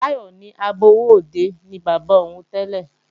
Táyọ̀ ní agbowóòde ni bàbá òun tẹ́lẹ̀